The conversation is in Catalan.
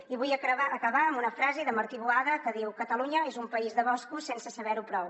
i vull acabar amb una frase de martí boada que diu catalunya és un país de boscos sense saber ho prou